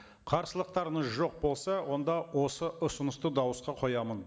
қарсылықтарыңыз жоқ болса онда осы ұсынысты дауысқа қоямын